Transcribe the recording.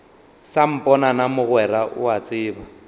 samponana mogwera o a tseba